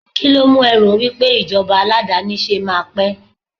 kilo mu e ro wipe ijoba aladanise ma pe